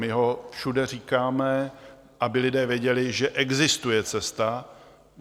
My ho všude říkáme, aby lidé věděli, že existuje cesta.